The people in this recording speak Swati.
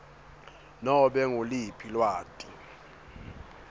nobe nguluphi lwati